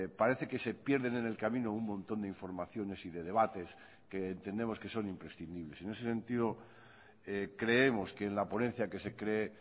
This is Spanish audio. parece que se pierden en el camino un montón de informaciones y de debates que entendemos que son imprescindibles en ese sentido creemos que en la ponencia que se cree